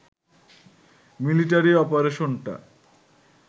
military অপারেশনটা